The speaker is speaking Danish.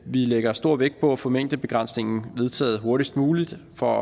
vi lægger stor vægt på at få mængdebegrænsningen vedtaget hurtigst muligt for